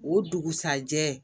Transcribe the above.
O dugusajɛ